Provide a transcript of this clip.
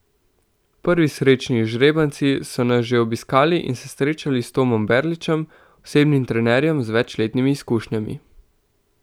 Prvi srečni izžrebanci so nas že obiskali in se srečali s Tomom Berličem, osebnim trenerjem z večletnimi izkušnjami.